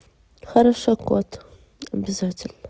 хорошо кот обязательно